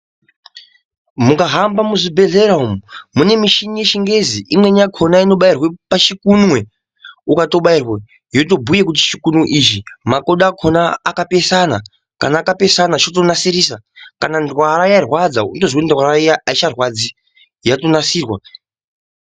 Mukuhamba muzvibhedhlera umu mune michini yechingezi imweni yakona inobairwa pachikunwe ukatobairwa yotobhuta kuti pachikunwe ichi makodo akona akapesana kana akapesana chotonasirisa Kana ndwara yarwadza wotoziya kuti ndwara iya aicharwadzi yatonasirwa.